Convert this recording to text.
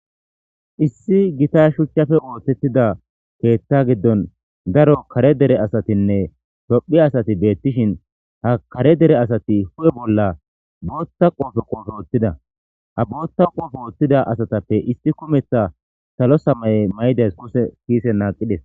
Issi gita shuchchafe oothettida keeththa giddon daro kare dere asatinne tophi asati beettishin ha kare dere asati hu'e bolla bootta qoofe qoofe oothtida ha bootta qoofe ooththida asatappe isti kumeththa salo samay may'idas kuse kiise naaqides.